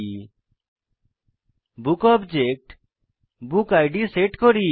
আমরা বুক অবজেক্টে book id set করি